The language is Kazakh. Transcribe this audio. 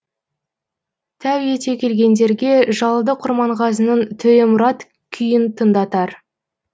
тәу ете келгендерге жалды құрманғазының төремұрат күйін тыңдатар